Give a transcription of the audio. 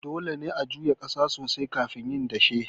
Dole ne a juya ƙasa sosai kafin yin dashe.